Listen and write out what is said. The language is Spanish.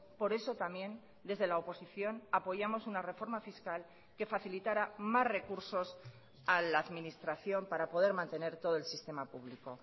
por eso también desde la oposición apoyamos una reforma fiscal que facilitara más recursos a la administración para poder mantener todo el sistema público